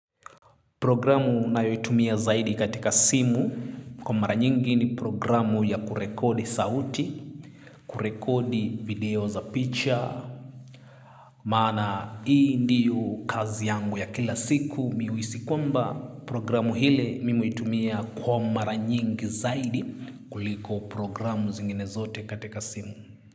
Programu nayo itumia zaidi katika simu kwa mara nyingi ni programu ya kurekodi sauti, kurekodi video za picha. Maana hii ndiyo kazi yangu ya kila siku mi huhisi kwamba programu ile mimi huitumia kwa mara nyingi zaidi kuliko programu zingine zote katika simu.